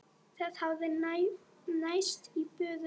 Það hafði náðst í böðul.